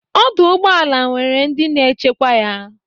Ọdụ ụgbọala nwere ndị na-echekwa ya.